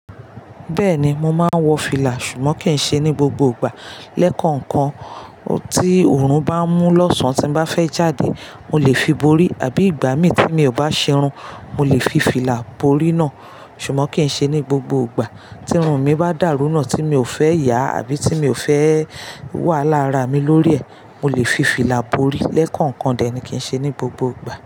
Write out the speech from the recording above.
Bẹ́ẹ̀ni, mo máa ń wọ fìlà, ṣùgbọ́n kì í ṣe ní gbogbo ìgbà. Lẹ́kọ̀ọ̀kan, tí òórùn bá mú lọ́sàn tí mo bá fẹ́ jáde, mo lè fi borí, àbí ìgbà mí tí mi ò bá ṣe irun, mo lè fi fìlà borí náà. Ṣùgbọ́n kì í ṣe ní gbogbo ìgbà. Tí irun mi bá dàrú náà tí mi ò fẹ́ yà àbí tí mi ò fẹ́ wàhálà ára mi lórí ẹ̀, mo lè fi fìlà borí. Lẹ́kọ̀ọ̀kan dẹ̀ ni, kì í ṣe ní gbogbo ìgbà.